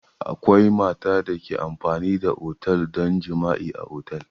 Akwai mata da ke amfani da otel don jima'i a otel.